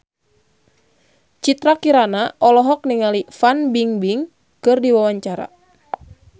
Citra Kirana olohok ningali Fan Bingbing keur diwawancara